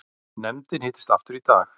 Nefndin hittist aftur í dag